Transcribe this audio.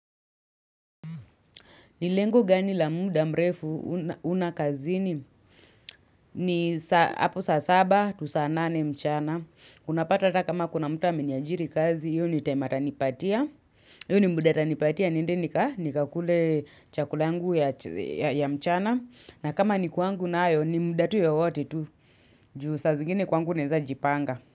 Nilengo gani la muda mrefu una kazini ni hapo saa saba, to saa nane mchana. Unapata ata kama kuna mtu ameniajiri kazi, hio ni time atanipatia. Hio ni muda atanipatia, niende nikakule chakula yangu ya mchana. Na kama ni kwangu nayo, ni muda tu yowote tu. Juu saa zingine kwangu naeza jipanga.